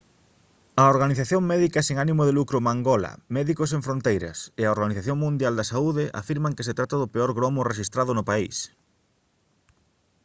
a organización médica sen ánimo de lucro mangola médicos sen fronteiras e a organización mundial da saúde afirman que se trata do peor gromo rexistrado no país